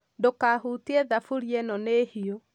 ndũkahutie thaburia ĩno nĩ hiũ